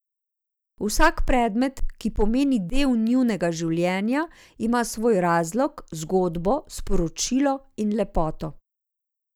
Vsak predmet, ki pomeni del njunega življenja, ima svoj razlog, zgodbo, sporočilo in lepoto.